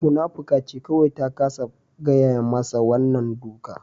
Munafuka ce kawai ta kasa gaya mashi wannan duka